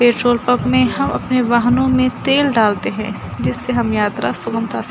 petrol pump में हम अपने वाहनों में तेल डालते है जिससे हम यात्रा सुगमता से --